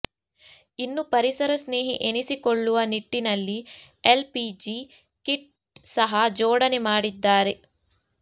ಇನ್ನು ಪರಿಸರ ಸ್ನೇಹಿ ಎನಿಸಿಕೊಳ್ಳುವ ನಿಟ್ಟಿನಲ್ಲಿ ಎಲ್ ಪಿಜಿ ಕಿಟ್ ಸಹ ಜೋಡಣೆ ಮಾಡಿದ್ದಾರೆ